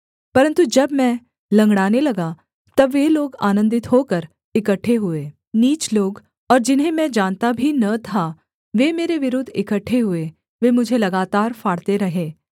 परन्तु जब मैं लँगड़ाने लगा तब वे लोग आनन्दित होकर इकट्ठे हुए नीच लोग और जिन्हें मैं जानता भी न था वे मेरे विरुद्ध इकट्ठे हुए वे मुझे लगातार फाड़ते रहे